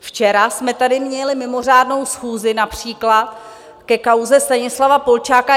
Včera jsme tady měli mimořádnou schůzi například ke kauze Stanislava Polčáka.